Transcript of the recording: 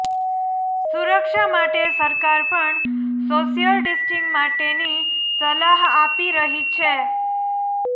સુરક્ષા માટે સરકાર પણ સોશિયલ ડિસ્ટેન્સિંગ માટેની સલાહ આપી રહી છે